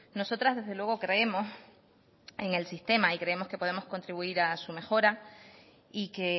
nosotras desde luego creemos en el sistema y creemos que podemos contribuir a su mejora y que